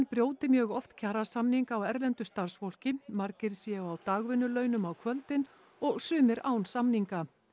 brjóti mjög oft kjarasamninga á erlendu starfsfólki margir séu á dagvinnulaunum á kvöldin og sumir án samninga